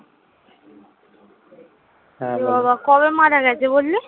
বাবা কবে মারা গেছে বললি?